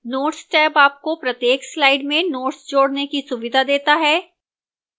notes tab आपको प्रत्येक slide में notes जोड़ने की सुविधा देता है